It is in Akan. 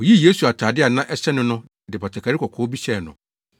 Woyii Yesu atade a na ɛhyɛ no no de batakari kɔkɔɔ bi hyɛɛ no,